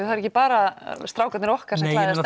það er ekki bara strákarnir okkar sem klæðast